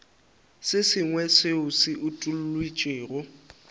se sengwe seo se utolotšwego